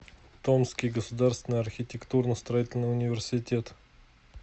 томский государственный архитектурно строительный университет